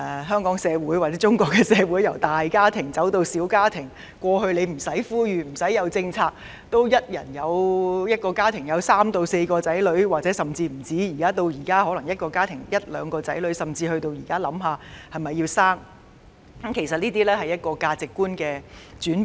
香港社會或中國社會由大家庭走向小家庭，從以往不用政府呼籲或推出任何政策，一個家庭也會有三四個或更多的小孩，至現在一個家庭只有一兩個小孩，甚至須考慮是否生育，其實反映出社會價值觀的轉變。